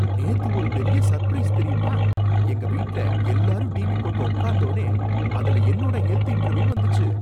நேத்து ஒரு பெரிய சர்பிரைஸ் தெரியுமா! எங்க வீட்ல எல்லாரும் டிவி போட்டு உக்காந்தோனே அதுல என்னோட ஹெல்த் இன்டர்வியூ வந்துச்சு!